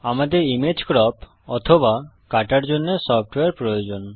আমাদের image crop অথবা কাটার জন্যে সফ্টওয়্যার প্রয়োজন